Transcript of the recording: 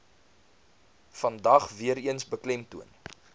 vandag weereens beklemtoon